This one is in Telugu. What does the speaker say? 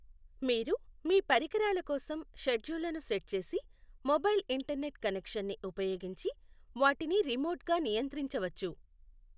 మీరు మీ పరికరాల కోసం షెడ్యూల్లను సెట్ చేసి మొబైల్ ఇంటర్నెట్ కనెక్షన్ని ఉపయోగించి వాటిని రిమోట్గా నియంత్రించవచ్చు